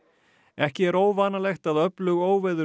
ekki er óvanalegt að öflug óveður